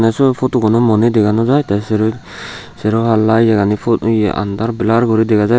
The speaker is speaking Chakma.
se photo guno mo ni dega nojai teh shero shero pala yegani ye andar blur guri degajai